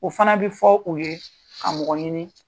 O fana bɛ fɔ u ye ka mɔgɔ ɲini